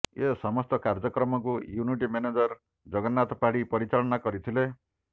ଏ ସମସ୍ତ କାର୍ଯ୍ୟକ୍ରମକୁ unit manager Jagannath Padhi ପରିଚାଳନା କରିଥିଲେ